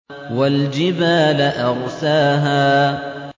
وَالْجِبَالَ أَرْسَاهَا